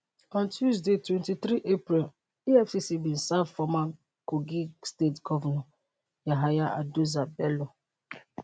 on tuesday 23 april efcc bin serve former kogi state govnor yahaya adoza bello